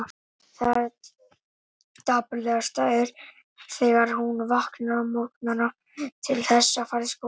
Það dapurlegasta er þegar hún vaknar á morgnana til þess að fara í skólann.